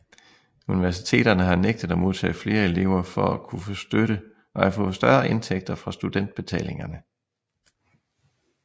Universiteterne har nægtet at modtage flere elever for at kunne få større indtægter fra studentbetalingerne